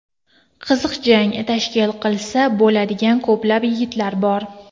Qiziq jang tashkil qilsa bo‘ladigan ko‘plab yigitlar bor.